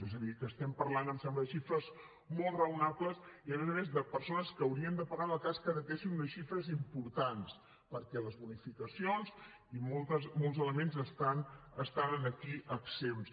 és a dir que estem parlant em sembla de xifres molt raonables i a més a més de persones que haurien de pagar en el cas que heretessin unes xifres importants perquè les bonificacions i moltes elements estan aquí exempts